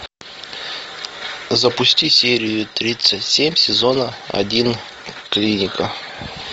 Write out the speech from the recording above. запусти серию тридцать семь сезона один клиника